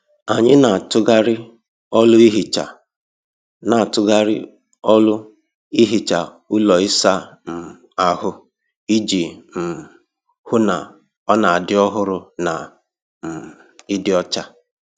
Anyị n'atughari ọlụ ehicha n'atughari ọlụ ehicha ụlọ ịsa um ahụ iji um hụ na ọ n'adị ọhụrụ na um ịdị ọcha.